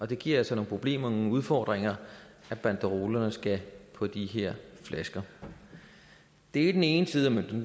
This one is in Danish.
det giver altså nogle problemer nogle udfordringer at banderolerne skal på de her flasker det er den ene side af mønten